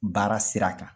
Baara sira kan